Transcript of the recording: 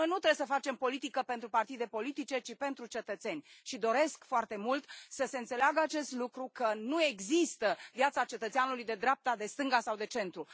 Noi nu trebuie să facem politică pentru partide politice, ci pentru cetățeni, și doresc foarte mult să se înțeleagă acest lucru, că nu există viața cetățeanului de dreapta, de stânga sau de centru.